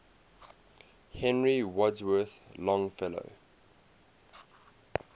henry wadsworth longfellow